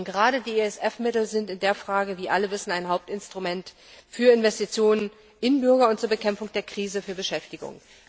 Gerade die ESF Mittel sind in dieser Frage wie alle wissen ein Hauptinstrument für Investitionen in Bürger und zur Bekämpfung der Krise, für Beschäftigung.